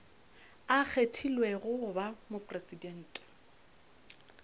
a kgethilwego go ba mopresidente